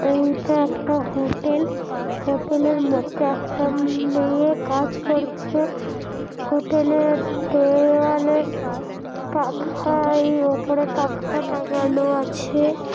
এইটা একটা হোটেল হোটেলের মধ্যে একটা মে-এ-য়ে কাজ করছে হোটেলের দেও-ও-ওয়ালের পাখা-ই এ উপরে পাখা টাঙ্গানো আছে ।